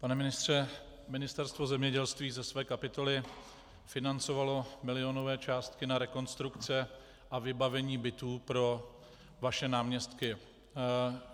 Pane ministře, Ministerstvo zemědělství ze své kapitoly financovalo milionové částky na rekonstrukce a vybavení bytů pro vaše náměstky.